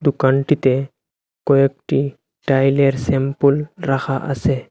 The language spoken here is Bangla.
দুকানটিতে কয়েকটি টাইলের স্যাম্পুল রাখা আসে।